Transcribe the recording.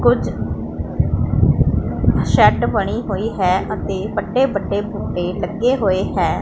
ਕੁਝ ਸੈਡ ਬਣੀ ਹੋਈ ਹੈ ਅਤੇ ਵੱਡੇ ਵੱਡੇ ਬੂਟੇ ਲੱਗੇ ਹੋਏ ਹੈ।